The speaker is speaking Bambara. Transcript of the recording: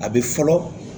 A bɛ fɔlɔ